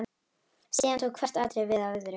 Síðan tók hvert atriðið við af öðru.